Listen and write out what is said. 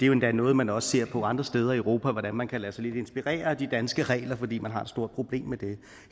jo endda noget man også ser på andre steder i europa altså hvordan man kan lade sig inspirere af de danske regler fordi man har store problemer med det